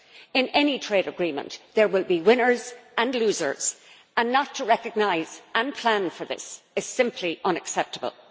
In any trade agreement there will be winners and losers, and not to recognise and plan for this is simply unacceptable.